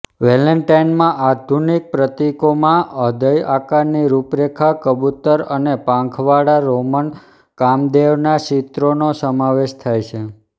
વેલેન્ટાઇનનાં આધુનિક પ્રતીકોમાં હ્રદય આકારની રૂપરેખા કબૂતર અને પાંખવાળા રોમન કામદેવના ચિત્રનો સમાવેશ થાય છે